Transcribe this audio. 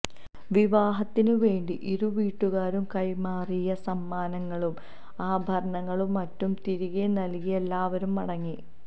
വിവാഹത്തിന് വേണ്ടി ഇരുവീട്ടുകാരും കൈമാറിയ സമ്മാനങ്ങളും ആഭരണങ്ങളും മറ്റും തിരികെ നൽകി എല്ലാവരും മടങ്ങി